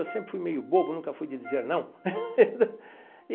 Eu sempre fui meio bobo, nunca fui de dizer não.